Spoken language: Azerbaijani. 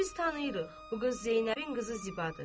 Bu qız Zeynəbin qızı Zibadır.